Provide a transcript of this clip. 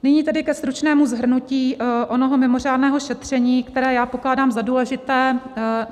Nyní tedy ke stručnému shrnutí onoho mimořádného šetření, které já pokládám za důležité.